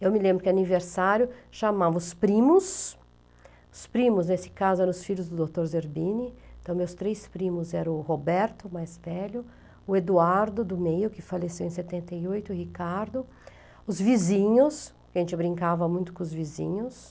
Eu me lembro que aniversário chamamos os primos, os primos nesse caso eram os filhos do doutor Zerbini, então meus três primos eram o Roberto, mais velho, o Eduardo do meio, que faleceu em setenta e oito, o Ricardo, os vizinhos, a gente brincava muito com os vizinhos,